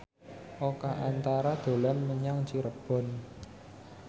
Oka Antara dolan menyang Cirebon